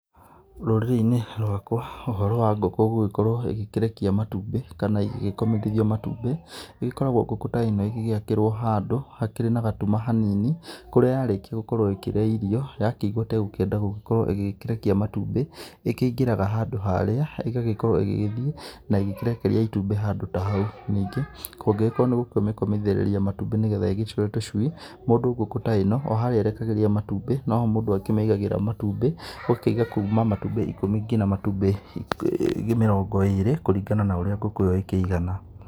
Rũrĩrĩ-inĩ rwakwa, ũhoro wa ngũkũ gũgĩkorwo ĩgĩkĩrekia matũmbĩ, kana igĩgĩkomĩthĩrĩrio matũmbi ĩgĩkoragwo ngũkũ ta ĩno ĩgĩgĩakĩrwo handũ hakĩrĩ na gatũma hanini ,kũrĩa ya rĩkĩa gũkorwo ĩgĩkĩria irio ya kĩigũa ta ĩgũkĩenda gũkorwo ĩgĩkĩrekia matũmbi, ĩkĩingĩraga handũ harĩa, ĩgagĩkorwo ĩgĩgĩthĩe na ĩgĩkĩrekĩa ĩtumbĩ handũ ta haũ. Ningĩ kũngĩgĩkorwo nĩ gũkĩmĩkomĩthĩrĩria matũmbi nĩgetha ĩgĩcũe tũcũi, mũndũ ngũkũ ta ino o harĩa ĩkĩrekagĩrĩa matũmbi no ho mũndũ akĩmĩigagĩra matũmbi ũgakĩiga matũmbi ikũmi nginya matũmbi mĩrongo ĩrĩ kũringana na ũrĩa ngũkũ iyo ĩkĩigana.